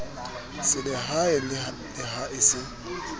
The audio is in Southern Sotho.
selehae le ha e se